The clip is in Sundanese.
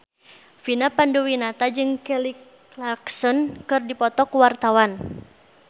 Vina Panduwinata jeung Kelly Clarkson keur dipoto ku wartawan